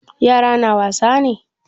Yara na wasa ne?